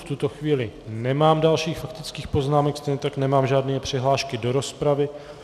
V tuto chvíli nemám dalším faktických poznámek, stejně tak nemám žádné přihlášky do rozpravy.